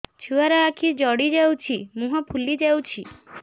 ଛୁଆର ଆଖି ଜଡ଼ି ଯାଉଛି ମୁହଁ ଫୁଲି ଯାଇଛି